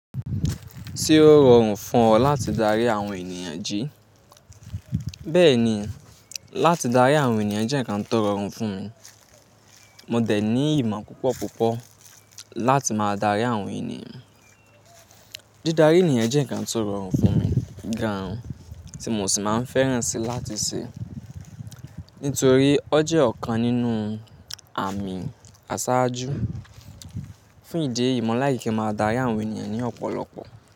Se ó rọrùn fún ọ láti darí àwọn ènìyàn, jí? Bẹ́ẹ̀ni, láti darí àwọn ènìyàn jẹ́ ǹkan tó rọrùn fún mi. Mo dẹ̀ ní ìmọ̀ púpọ̀ púpọ̀ láti máa darí àwọn ènìyàn. Di darí ènìyàn jẹ́ ǹkan ti ó rọrùn fún mi gan tí mo sì máa ń fẹ́ràn si láti ṣe. Nítorí ọ jẹ́ ọ̀kan nínú àmì àṣáájú. Fún ìdí eyi mọ̀ like kin máa dárí àwọn ènìyàn ní ọ̀pọ̀lọpọ̀